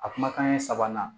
A kumakan ye sabanan